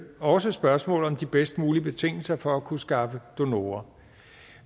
også spørgsmålet om de bedst mulige betingelser for at kunne skaffe donorer